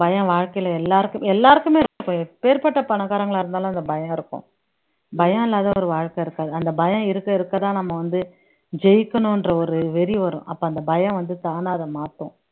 பயம் வாழ்க்கையில எல்லாருக் எல்லாருக்குமே எப்பேர்பட்ட பணக்காரங்களா இருந்தாலும் அந்த பயம் இருக்கும் பயம் இல்லாத ஒரு வாழ்க்கை இருக்காது அந்த பயம் இருக்க இருக்கதான் நம்ம வந்து ஜெயிக்கணுன்ற ஒரு வெறி வரும் அப்ப அந்த பயம் வந்து தானா அதை மாத்தும்